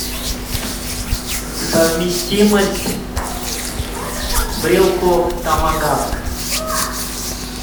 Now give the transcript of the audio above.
совместимость брелков томагавк